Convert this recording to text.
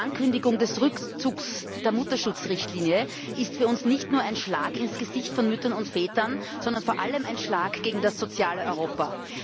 Die Ankündigung des Rückzugs der Mutterschutzrichtlinie ist für uns nicht nur ein Schlag ins Gesicht von Müttern und Vätern, sondern vor allem ein Schlag gegen das soziale Europa.